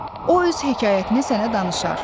O öz hekayətini sənə danışar.